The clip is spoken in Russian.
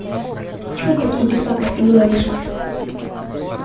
тьфу какие ты пакости говоришь